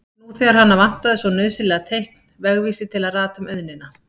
Nú þegar hana vantaði svo nauðsynlega teikn, vegvísi til að rata um auðnina.